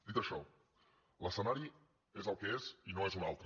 dit això l’escenari és el que és i no és un altre